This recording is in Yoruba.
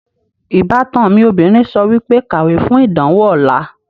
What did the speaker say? Ìbátan mi obìnrin sọ wípé, 'Kàwé fún ìdánwò ọ̀la'